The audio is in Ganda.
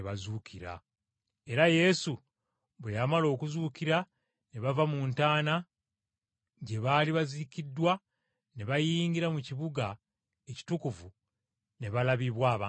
era Yesu bwe yamala okuzuukira ne bava mu ntaana gye baali baziikiddwa ne bayingira mu kibuga ekitukuvu ne balabibwa abantu bangi.